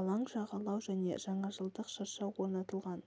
алаң жағалау және жаңажылжық шырша орнатылған